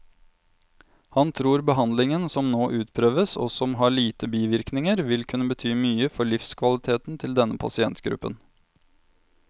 Han tror behandlingen som nå utprøves, og som har lite bivirkninger, vil kunne bety mye for livskvaliteten til denne pasientgruppen.